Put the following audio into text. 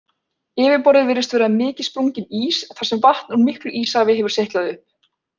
Yfirborðið virðist vera mikið sprunginn ís þar sem vatn úr miklu íshafi hefur seytlað upp.